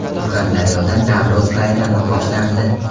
Surxondaryoda Navro‘z bayrami boshlandi .